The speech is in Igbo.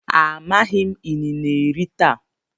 amaghim inine eri taa.